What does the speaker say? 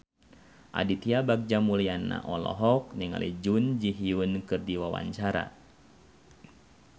Aditya Bagja Mulyana olohok ningali Jun Ji Hyun keur diwawancara